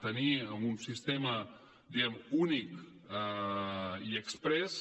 tenia un sistema diguem ne únic i exprés